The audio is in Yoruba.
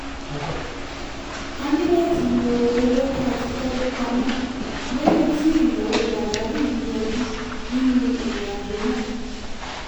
a ní láti lo owó tá a ti tọ́jú pamọ́ lẹ́yìn tí ìnáwó pàjáwìrí yọjú nínú ìrìnàjò náà